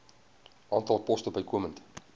aantal poste bykomend